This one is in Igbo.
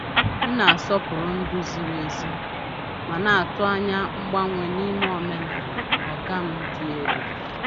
M na-asọpụrụ ndú ziri ezi, ma na-atụ anya mgbanwe n’ime omenala “oga m dị elu.”